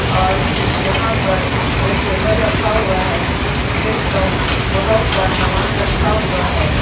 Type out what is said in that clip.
और यहां पर एक टेबल रखा हुआ है जिस पर बहुत सा सामान रखा हुआ है।